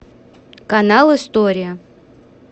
канал история